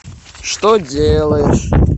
что делаешь